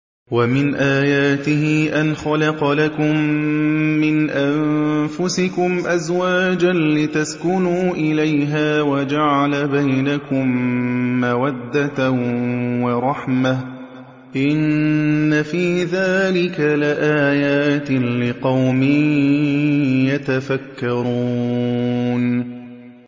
وَمِنْ آيَاتِهِ أَنْ خَلَقَ لَكُم مِّنْ أَنفُسِكُمْ أَزْوَاجًا لِّتَسْكُنُوا إِلَيْهَا وَجَعَلَ بَيْنَكُم مَّوَدَّةً وَرَحْمَةً ۚ إِنَّ فِي ذَٰلِكَ لَآيَاتٍ لِّقَوْمٍ يَتَفَكَّرُونَ